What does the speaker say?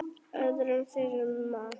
öðrum þyrma.